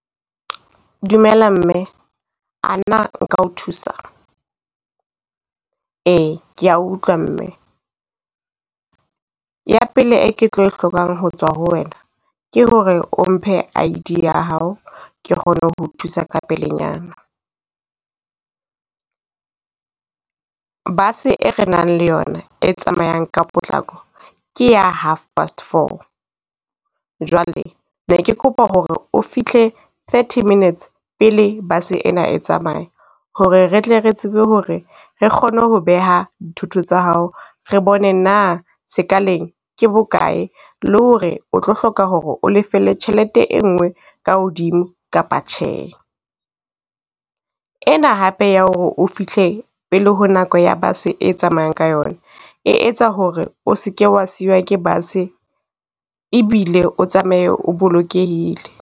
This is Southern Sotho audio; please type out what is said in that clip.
Dumela mme, ana nka o thusa? Ee, ke a utlwa mme ya pele e ke tlo e hlokang ho tswa ho wena, ke ho re o mphe ID ya hao ke kgone ho thusa ka pelenyana. Bus-e re nang le yona e tsamayang ka potlako ke ya half past four. Jwale ne ke kopa ho re o fihle thirty minutes pele bus-e ena e tsamaya, ho re re tle re tsebe ho re re kgone ho beha dithoto tsa hao. Re bone na sekaleng ke bokae, le ho re o tlo hloka ho re o lefelle tjhelete e nngwe ka hodimo kapa tjhe. Ena hape ya ho re o fihle pele ho nako ya bus-e tsamayang ka yona, e etsa ho re o seke wa siwa ke bus-e, ebile o tsamaye o bolokehile.